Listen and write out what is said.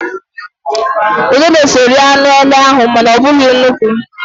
Udele so rie anụ ele ahụ, mana ọ bụghị nnukwu.